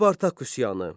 Spartak üsyanı.